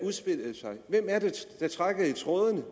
udspillede sig hvem er det der trækker i trådene